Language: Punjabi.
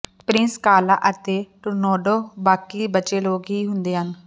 ਪ੍ਰਿੰਸ ਕਾਲਾਹ ਅਤੇ ਟੂਰੋਂਦੌਟ ਬਾਕੀ ਬਚੇ ਲੋਕ ਹੀ ਹਨ